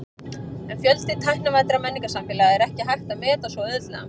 En fjölda tæknivæddra menningarsamfélaga er ekki hægt að meta svo auðveldlega.